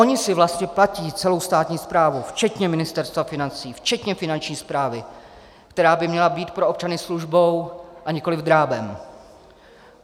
Oni si vlastně platí celou státní správu, včetně Ministerstva financí, včetně Finanční správy, která by měla být pro občany službou a nikoliv drábem.